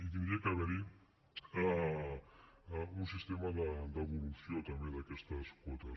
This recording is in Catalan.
hi hauria d’haver un sistema de devolució també d’aquestes quotes